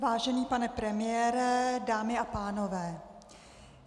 Vážený pane premiére, dámy a pánové.